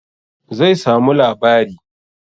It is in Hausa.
Zai samu labari